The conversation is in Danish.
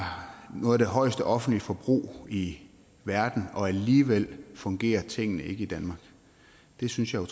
noget af det højeste offentlige forbrug i verden og alligevel fungerer tingene ikke i danmark det synes jeg